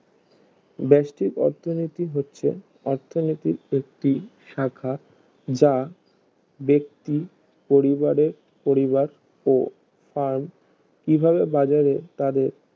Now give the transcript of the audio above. বেস্টিক অথনীতি হচ্ছে অর্থনীতির একটি শাখা যা বেক্তি পরিবারে পরিবার ও আর্ম কিভাবে বাজারে তাদের